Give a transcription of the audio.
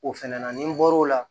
O fɛnɛ na ni n bɔr'o la